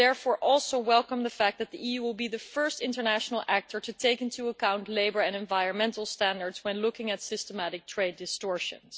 I therefore also welcome the fact that the EU will be the first international protagonist to take into account labour and environmental standards when looking at systematic trade distortions.